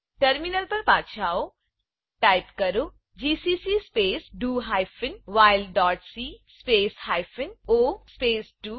terminal પર પાછા આવો ટાઈપ કરો GCC space do hyphen while dot C space hyphen O space do